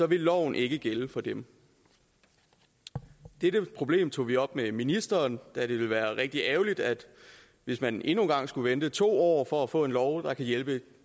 vil loven ikke gælde for dem dette problem tog vi op med ministeren da det ville være rigtig ærgerligt hvis man endnu en gang skulle vente to år for at få en lov der kan hjælpe